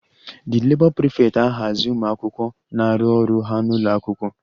The Labour prefect ahazi ụmụ akwụkwọ na-arụ ọrụ ha n'ụlọ akwụkwọ